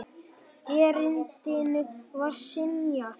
Erindinu var synjað.